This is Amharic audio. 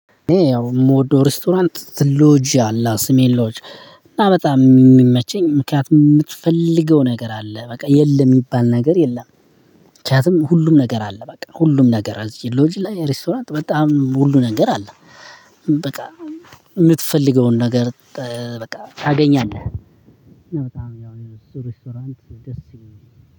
እኔ የምወደው ሬስቶራንት ሎጂ አለ ስሜሎጂ እና በጣም የሚመቸኝ ምክንያት የምትፈልገው ነገር አለ በቃ የለም የሚባል ነገር የለም። ምክንያቱም ሁሉም ነገር አለ በቃ ሁሉም ነገር አዝዤ ሎጂ ላይ ሬስቶራንት በጣም ሁሉ ነገር አለ። በቃ የምትፈልገውን ነገር በቃ ታገኛለህ። በጣም ያው ሪስቶራንት ደስ